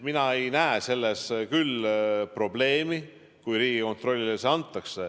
Mina ei näe selles küll probleemi, kui see Riigikontrollile antakse.